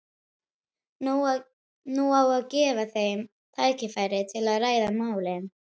Nú á að gefa þeim tækifæri til að ræða málin.